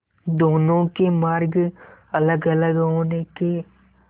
दोनों के मार्ग अलगअलग होने के